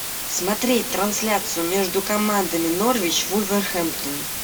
смотреть трансляцию между командами норвич вулверхэмптон